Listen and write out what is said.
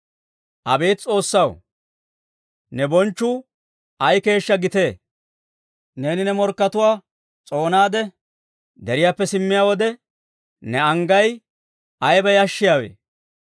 Abeet S'oossaw, ne bonchchuu ay keeshshaa gitee! Neeni ne morkkatuwaa s'oonaade, deriyaappe simmiyaa wode, ne anggay ayiba yashshiyaawe!